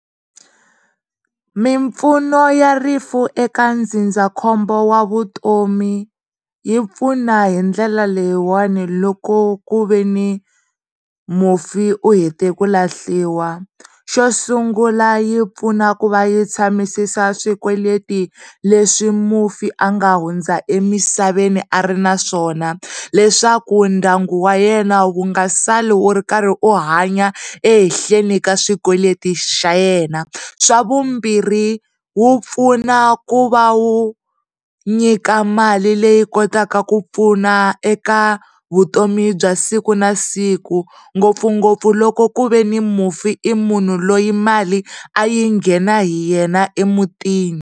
Mimpfuno ya rifu eka ndzindzakhombo wa vutomi yi pfuna hi ndlela leyiwani loko ku ve ni mufi u he te ku lahliwa. Xo sungula yi pfuna ku va yi tshamisa swikweleti leswi mufi a nga hundza emisaveni a ri naswona leswaku ndyangu wa yena wa nga sali wu ri karhi u hanya ehehleni ka swikweleti xa yena, swa vumbirhi wu pfuna ku va wu nyika mali leyi kotaku pfuna eka vutomi bya siku na siku ngopfungopfu loko ku ve ni ni mufi i munhu loyi mali a yi ghena hi yena emutini.